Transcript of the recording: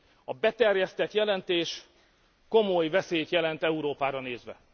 A beterjesztett jelentés komoly veszélyt jelent Európára nézve.